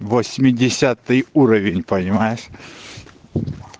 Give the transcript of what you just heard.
восьмидесятый уровень понимаешь